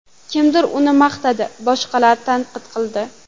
Kimdir uni maqtadi, boshqalar tanqid qildi.